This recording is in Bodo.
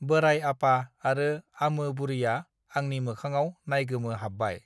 बोराय आपा आरो आमो बुरैया आंनि मोखाङाव नाइगोमोहाबबाय